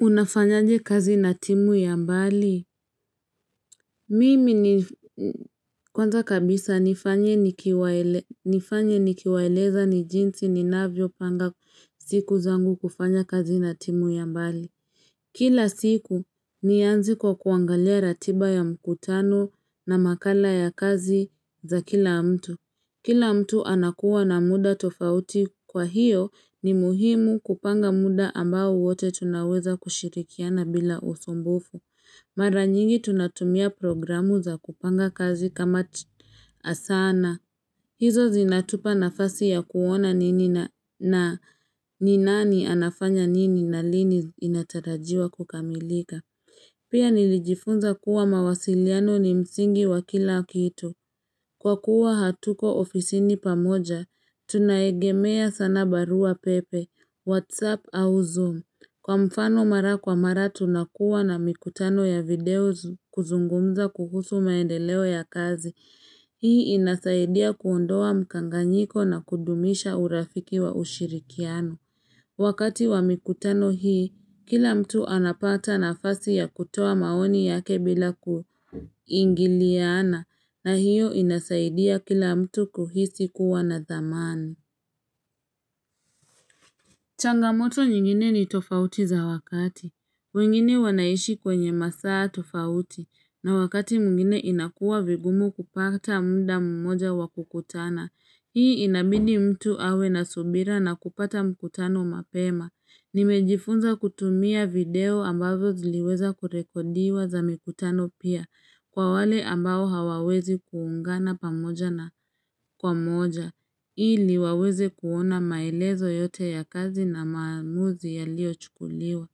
Unafanyaje kazi na timu ya mbali? Mimi ni kwanza kabisa nifanye nikiwaeleza ni jinsi ninavyo panga siku zangu kufanya kazi na timu ya mbali. Kila siku nianze kwa kuangalia ratiba ya mkutano na makala ya kazi za kila mtu. Kila mtu anakuwa na muda tofauti kwa hiyo ni muhimu kupanga muda ambao wote tunaweza kushirikiana bila usumbufu. Mara nyingi tunatumia programu za kupanga kazi kama asana. Hizo zinatupa nafasi ya kuona nini na ni nani anafanya nini na lini inatarajiwa kukamilika. Pia nilijifunza kuwa mawasiliano ni msingi wa kila kitu. Kwa kuwa hatuko ofisini pamoja, tunaegemea sana barua pepe, whatsapp au zoom. Kwa mfano mara kwa mara tunakuwa na mikutano ya video kuzungumza kukusu maendeleo ya kazi. Hii inasaidia kuondoa mkanganyiko na kudumisha urafiki wa ushirikiano. Wakati wa mikutano hii, kila mtu anapata nafasi ya kutoa maoni yake bila kuingiliana. Na hiyo inasaidia kila mtu kuhisi kuwa na thamani Changamoto nyingine ni tofauti za wakati wengine wanaishi kwenye masaa tofauti na wakati mwingine inakuwa vigumu kupata muda mmoja wa kukutana Hii inabidi mtu awe na subira na kupata mkutano mapema Nimejifunza kutumia video ambazo ziliweza kurekodiwa za mikutano pia Kwa wale ambao hawawezi kuungana pamoja na kwa moja. Ili waweze kuona maelezo yote ya kazi na maamuzi yaliyochukuliwa.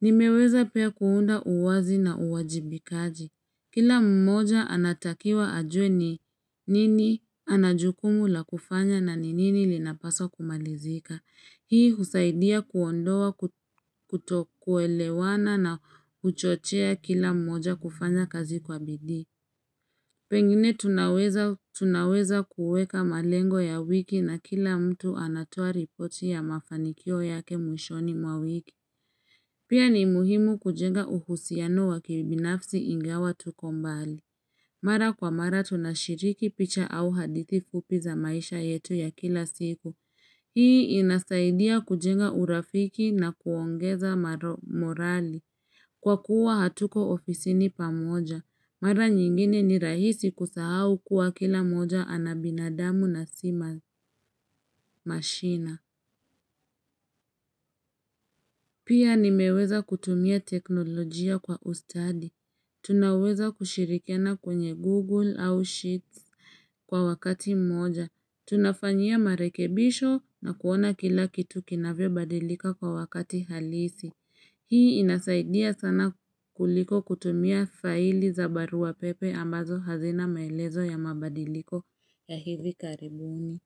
Nimeweza pia kuunda uwazi na uwajibikaji. Kila mmoja anatakiwa ajue ni nini ana jukumu la kufanya na ni nini linapaswa kumalizika. Hii husaidia kuondoa kutokuelewana na kuchochea kila mmoja kufanya kazi kwa bidii. Pengine tunaweza kuweka malengo ya wiki na kila mtu anatoa ripoti ya mafanikio yake mwishoni mwa wiki. Pia ni muhimu kujenga uhusiano wa kibinafsi ingawa tuko mbali. Mara kwa mara tunashiriki picha au hadithi fupi za maisha yetu ya kila siku. Hii inasaidia kujenga urafiki na kuongeza morali. Kwa kuwa hatuko ofisini pamoja. Mara nyingine ni rahisi kusahau kuwa kila moja ana binadamu na sima mashina. Pia nimeweza kutumia teknolojia kwa ustadi. Tunaweza kushirikiana kwenye Google au Sheets kwa wakati mmoja. Tunafanyia marekebisho na kuona kila kitu kinavyobadilika kwa wakati halisi. Hii inasaidia sana kuliko kutumia faili za barua pepe ambazo hazina maelezo ya mabadiliko ya hivi karibuni.